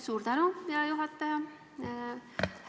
Suur tänu, hea juhataja!